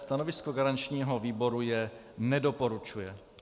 Stanovisko garančního výboru je - nedoporučuje.